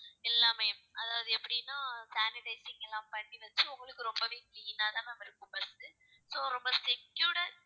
எல்லாமே அதாவது எப்படின்னா sanitizing எல்லாம் பண்ணி வச்சு உங்களுக்கு ரொம்பவே clean ஆதான் ma'am இருக்கும் bus so ரொம்ப secured ஆ